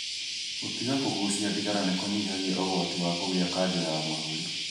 Gũtiga kũgucia thigara nĩ kũnyihagia ũgwati wa kũgia kanja ya mahũri.